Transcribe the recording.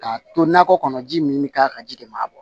K'a to nakɔ kɔnɔ ji min bɛ k'a kan ji de ma